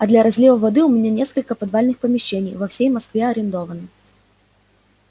а для разлива воды у меня несколько подвальных помещений во всей москве арендовано